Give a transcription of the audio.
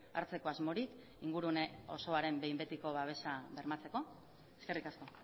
hartzeko asmorik ingurune osoaren behin betiko babesa bermatzeko eskerrik asko